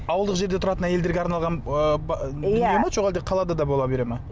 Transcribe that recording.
ауылдық жерде тұратын әйелдерге арналған ы дүние ме жоқ әлде қалада да бола бере ме